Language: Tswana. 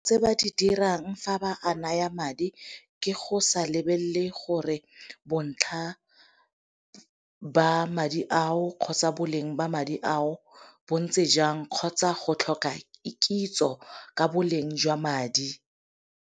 Tse ba di dirang fa ba a naya madi ke go sa lebelele gore bontlha ba madi ao kgotsa boleng ba madi ao bo ntse jang, kgotsa go tlhoka kitso ka boleng jwa madi.